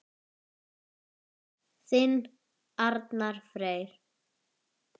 Þinn Arnar Freyr.